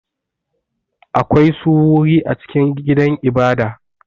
Akwai su wuri a cikin gidan ibada.